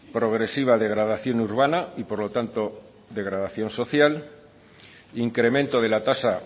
progresiva degradación urbana y por lo tanto degradación social incremento de la tasa